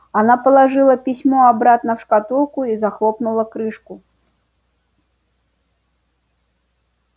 она положила письмо обратно в шкатулку и захлопнула крышку